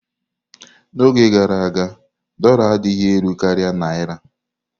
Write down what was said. N'oge gara aga, dórla adịghị elu karịa Naira.